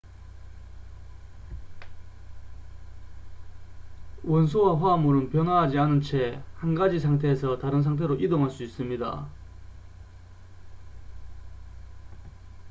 원소와 화합물은 변화하지 않은 채 한 가지 상태에서 다른 상태로 이동할 수 있습니다